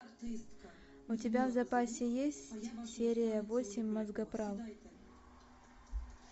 у тебя в запасе есть серия восемь мозгоправ